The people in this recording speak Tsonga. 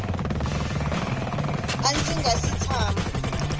a ndzi nga si tshama